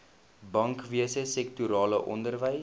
bankwese sektorale onderwys